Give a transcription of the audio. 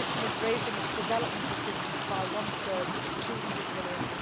The Commission is raising its development assistance by one third to EUR 200 million.